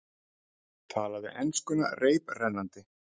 Talaði enskuna reiprennandi.